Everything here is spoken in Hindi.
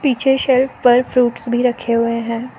पीछे सेल्फ पर फ्रूट्स भी रखे हुए हैं।